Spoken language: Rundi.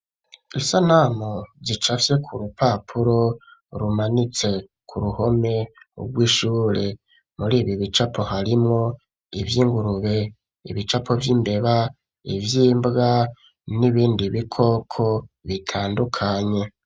Isanamu zicafye ku rupapuro rumanitse ku ruhome rw'ishure. Muri ibi bicapo, harimwo ivy'ingurube, ibicapo vy'imbeba, ivy'imbwa n'ibindi bikoko bitandukanye.